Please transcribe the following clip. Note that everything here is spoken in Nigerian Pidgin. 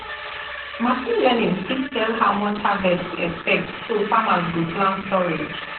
machine learning fit tell how much harvest to expect so farmers go plan storage